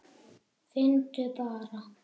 Finndu bara!